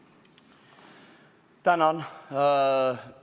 Tänan!